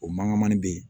O mankanmani bɛ yen